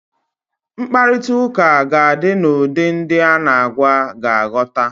Mkparitauka ga di n'ụdị ndi a na agwa ga aghota